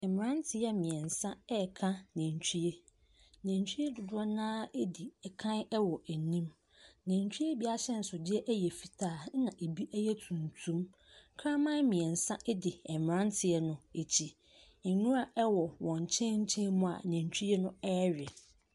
Mmranteɛ mmiɛnsa reka nantwie. Nantwie dodoɔ no ara redi kan wɔ anim. Natwie bi ahyɛnsodeɛ yɛ fitaa, na ebi yɛ tuntum. Kraman mmiɛnsa edi mmranteɛ no akyi. Nwura wɔn nkyɛnkyem mu a nantwie no rewe.